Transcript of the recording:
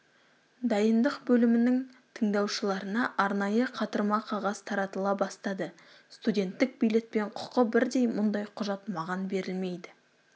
дайындық бөлімінің тыңдаушыларына арнайы қатырма қағаз таратыла бастады студенттік билетпен құқы бірдей мұндай құжат маған берілмейді